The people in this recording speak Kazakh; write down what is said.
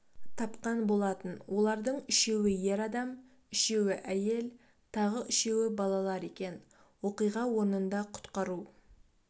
тапқан болатын олардың үшеуі ер адам үшеуі әйел тағы үшеуі балалар екен оқиға орнында құтқару